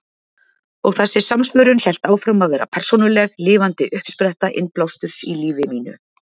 Og þessi samsvörun hélt áfram að vera persónuleg, lifandi uppspretta innblásturs í lífi mínu.